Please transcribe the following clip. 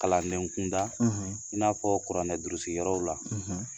Kalandenkunda i n'a fɔ kuranɛ duuruyɔrɔw la